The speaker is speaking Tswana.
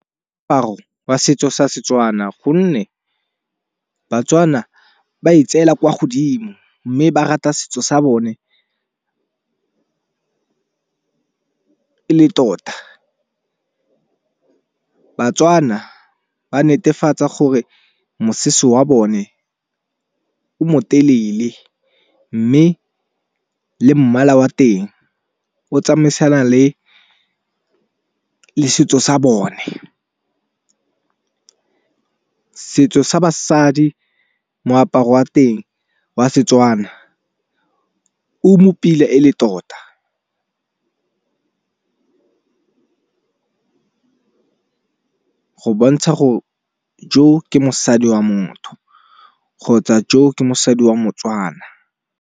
Wa setso sa setswana gonne batswana ba e tseela kwa godimo mme ba rata setso sa bone e le tota. Batswana ba netefatsa gore mosese wa bone o mo telele mme le mmala wa teng o tsamaisana le setso sa bone. Setso sa basadi moaparo wa teng wa setswana o mo pila e le tota go bontsha gore jo ke mosadi wa motho kgotsa jo ke mosadi wa motswana.